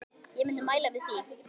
Ég myndi mæla með því.